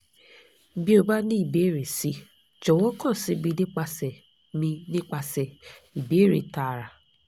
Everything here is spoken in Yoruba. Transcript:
bi o ba ni ibeere si jọ̀wọ́ kan si mi nipasẹ̀ mi nipasẹ̀ ibeere taara